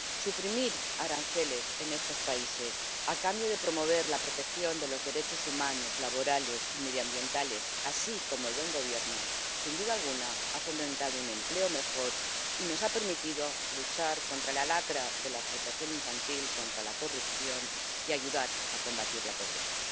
Suprimir aranceles en estos países a cambio de promover la protección de los derechos humanos, laborales y medioambientales, así como el buen gobierno, sin duda alguna ha fomentado un empleo mejor y nos ha permitido luchar contra la lacra de la explotación infantil y contra la corrupción y ayudar a combatir la pobreza.